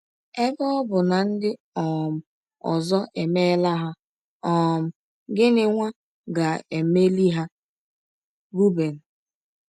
Ebe ọ bụ na ndị um ọzọ emeela ha, um gịnwa ga - emeli ha. ”— Roben.